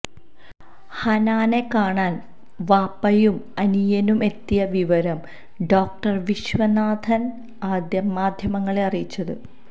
ഹനാനെ കാണാന് വാപ്പയും അനിയനും എത്തിയ വിവരം ഡോക്ടര് വിശ്വനാഥാണ് ആദ്യം മാധ്യമങ്ങളെ അറിയിച്ചത്